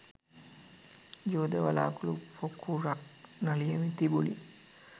යෝධ වළාකුළු පොකුරක් නලියමින් තිබුණි.